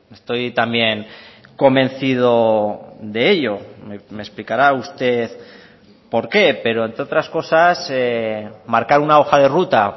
estoy también convencido de ello me explicará usted porqué pero entre otras cosas marcar una hoja de ruta